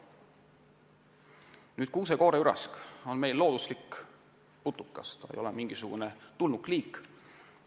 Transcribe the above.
Nüüd, kuuse-kooreürask on meil looduslik putukaliik, ta ei ole tulnukliik.